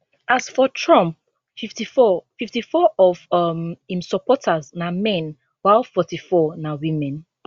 as for trump 54 54 of um im supporters na men while 44 na women